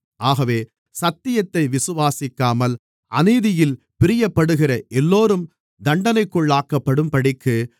ஆகவே சத்தியத்தை விசுவாசிக்காமல் அநீதியில் பிரியப்படுகிற எல்லோரும் தண்டனைக்குள்ளாக்கப்படும்படிக்கு